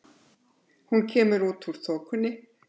Hún kemur út úr þokunni.